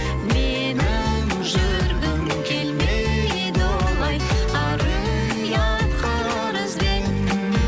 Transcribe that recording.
менің жүргім келмейді олай ар ұятқа арызбен